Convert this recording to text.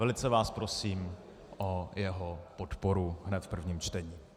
Velice vás prosím o jeho podporu hned v prvním čtení.